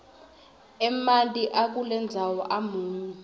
emanti akulendzawo amunyu